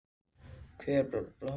Hervar, hvaða stoppistöð er næst mér?